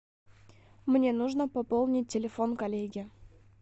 мне нужно пополнить телефон коллеги